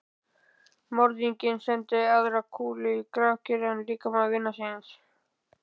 Morðinginn sendi aðra kúlu í grafkyrran líkama vinar síns.